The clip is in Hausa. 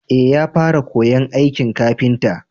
eh ya fara koyan aikin kafinta